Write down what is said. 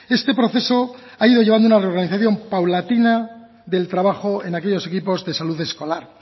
este proceso ha ido llevando una organización paulatina del trabajo en aquellos equipos de salud escolar